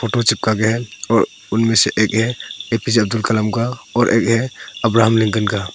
Photo चिपका गया है और उनमें से एक है एपीजे अब्दुल कलाम का और एक है अब्राहम लिंकन का।